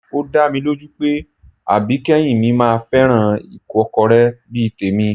Ó dá mi lójú pé àbíkẹ́yìn mi máa fẹ́ràn ìkọ́kọrẹ́ bí i tèmi